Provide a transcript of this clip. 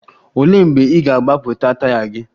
Olee mgbe ị ga-agbapụta taya gị?